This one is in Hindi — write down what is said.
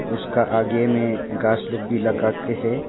उसका आगे में घास लोग भी लगा के है।